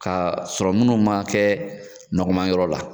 Ka sɔrɔ munnu ma kɛ nɔgɔman yɔrɔ la.